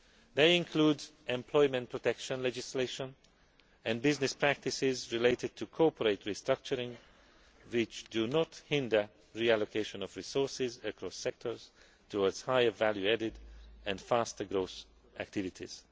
needed. They include employment protection legislation and business practices related to corporate restructuring which do not hinder the reallocation of resources, across sectors, towards higher value added and faster growth activities.